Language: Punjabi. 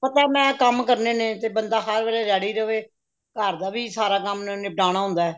ਪਤਾ ਮੈਂ ਕੰਮ ਕਰਨੇ ਨੇ ਤੇ ਬੰਦਾ ਹਰ ਵੱਲੇ ready ਰਵੇ ਘਰ ਦਾ ਵੀ ਸਾਰਾ ਕੰਮ ਨਿਪਟਾਣਾ ਹੁੰਦਾ